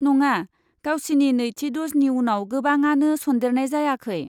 नङा, गावसिनि नैथि द'जनि उनाव गोबांआनो सन्देरनाय जायाखै।